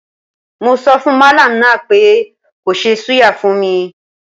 Mo sọfùn mallam náà pé kó ṣe súyà fún mi.